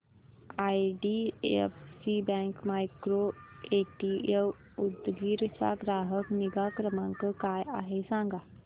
IDFC bank micro ATM Udgir चा ग्राहक निगा क्रमांक काय आहे सांगा